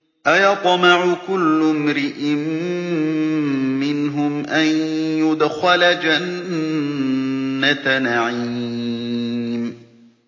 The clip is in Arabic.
أَيَطْمَعُ كُلُّ امْرِئٍ مِّنْهُمْ أَن يُدْخَلَ جَنَّةَ نَعِيمٍ